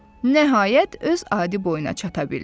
Nəhayət öz adi boyuna çata bildi.